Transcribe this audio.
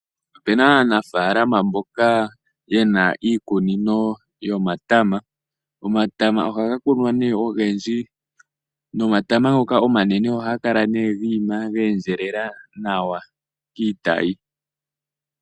Opu na aanafaalama mboka ye na iikunino yomatama. Omatama ohaga kunwa ogendji nomatama ngoka omanene ohaga kala gi ima ge endjelela nawa kiitayi.